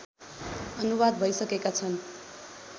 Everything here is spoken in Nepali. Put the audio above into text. अनुवाद भइसकेका छन्